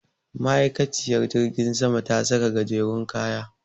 Ma'aikaciyar jirgin sama ta saka gajerun kaya.